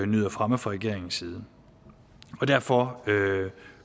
nyder fremme fra regeringens side og derfor